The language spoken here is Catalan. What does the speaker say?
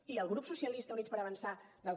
i el grup socialistes i units per avançar del que